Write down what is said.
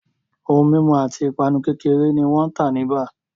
Ohun mimu ati ipanu kekere ni wan ta ni baa